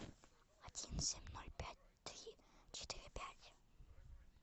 один семь ноль пять три четыре пять